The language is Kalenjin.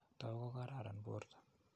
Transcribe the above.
Taku ko kararan porto.